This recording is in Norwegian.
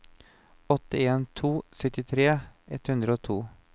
åtte en to to syttitre ett hundre og to